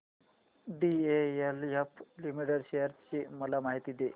DLF limited shares ची माहिती दे